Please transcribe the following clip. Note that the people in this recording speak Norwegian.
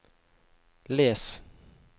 les